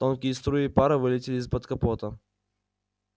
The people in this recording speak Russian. тонкие струи пара вылетили из-под капота